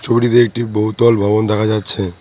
একটি বহু দল ভবন দেখা যাচ্ছে।